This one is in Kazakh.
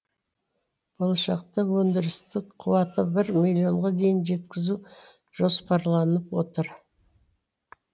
болашақта өндірістік қуатты бір миллионға дейін жеткізу жоспарланып отыр